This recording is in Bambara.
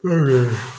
Ee